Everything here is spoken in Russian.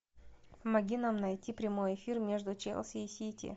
помоги нам найти прямой эфир между челси и сити